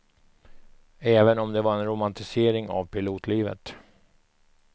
Även om det var en romantisering av pilotlivet.